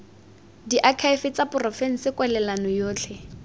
diakhaefe tsa porofense kwalelano yotlhe